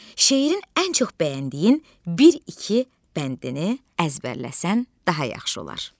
Şeirin ən çox bəyəndiyin bir-iki bəndini əzbərləsən daha yaxşı olar.